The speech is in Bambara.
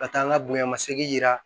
Ka taa n ka bonɲamasegin yira